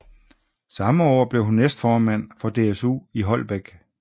Samme år blev hun næstformand for DSU i Holbæk